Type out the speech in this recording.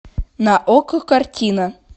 на окко картина